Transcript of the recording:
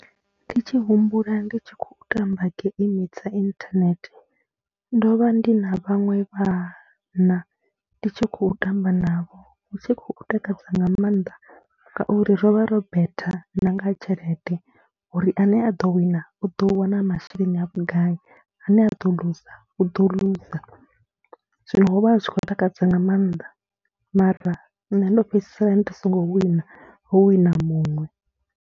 Ndi tshi humbula ndi tshi khou tamba geimi dza inthanethe, ndo vha ndi na vhaṅwe vhana ndi tshi khou tamba navho, hu tshi khou takadza nga maanḓa ngauri ro vha ro betha na nga tshelede uri ane a ḓo wina, u ḓo wana masheleni a vhugai, ane a ḓo luza, u ḓo luza. Zwino ho vha hu tshi khou takadza nga maanḓa mara nṋe ndo fhedzisela ndi songo wina, ho wina muṅwe.